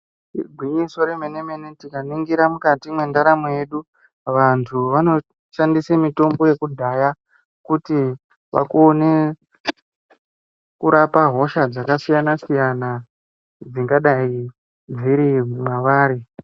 Igwinyiso remenemene tikaningira mukati mendaramo yedu vantu vanoshandisa mutombo yekudhaya kuti vakone kurapa hosha dzakasiyana siyana dzingadai dziri mavari.